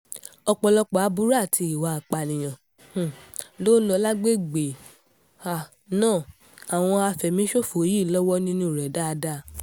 ọ̀pọ̀lọpọ̀ aburú àti ìwà ìpànìyàn um tó ń lọ lágbègbè um náà àwọn àfẹ̀míṣòfò yìí lọ́wọ́ nínú rẹ̀ dáadáa